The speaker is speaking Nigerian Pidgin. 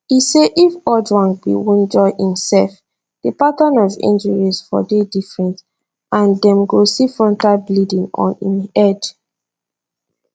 e say if ojwang bin wunjure imsef di pattern of injuries for dey different and dem go see frontal bleeding on im head